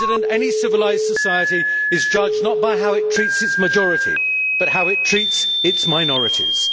Any civilised society is judged not by how it treats its majority but how it treats its minorities.